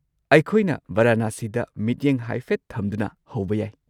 ꯑꯩꯈꯣꯏꯅ ꯚꯔꯅꯥꯁꯤꯗ ꯃꯤꯠꯌꯦꯡ ꯍꯥꯏꯐꯦꯠ ꯊꯝꯗꯨꯅ ꯍꯧꯕ ꯌꯥꯏ꯫